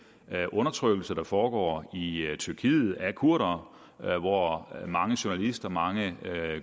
undertrykkelse der foregår i tyrkiet af kurdere hvor mange journalister mange